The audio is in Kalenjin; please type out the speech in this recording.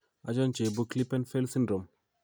Achon cheibu Klippel Feil syndrome?